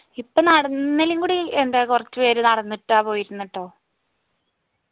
ഇപ്പോ നടന്നേലുംകൂടി എന്താ കോർച്ച് പേര് നടന്നിട്ട പോയിരുന്ന് ട്ടോ